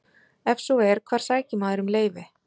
Ef svo er, hvar sækir maður um leyfi?